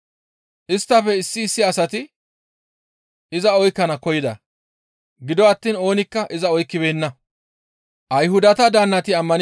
Isttafe issi issi asati iza oykkana koyida; gido attiin oonikka iza oykkibeenna.